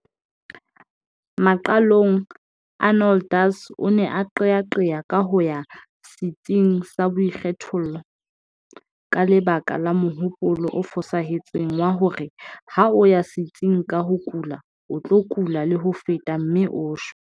Maqalong Arnoldus o ne a qeaqea ka ho ya setsing sa boikgethollo ka lebaka la mohopolo o fosahetseng wa hore ha o ya setsing ka o kula o tlo kula le ho feta mme o shwe.